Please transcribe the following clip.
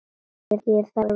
Ég þarf þín ekki með.